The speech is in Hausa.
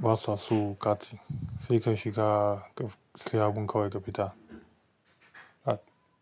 basa so kati. Sai ka shiga ka siya abun kawai ka fita.